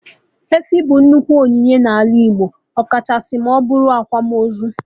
Efi bụ nnukwu onyinye na ala Igbo, ọkachasị ma ọbụrụ akwamozu